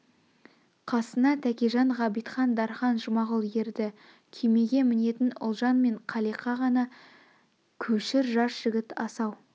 қасына тәкежан ғабитхан дарқан жұмағұл ерді күймеге мінетін ұлжан мен қалиқа ғана көшір жас жігіт асау